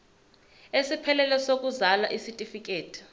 esiphelele sokuzalwa isitifikedi